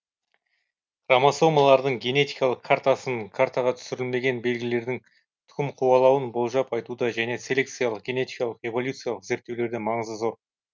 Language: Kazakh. хромосомалардың генетикалык картасының картаға түсірілмеген белгілердің тұқым қуалауын болжап айтуда және селекциялық генетикалық эволюциялық зерттеулерде маңызы зор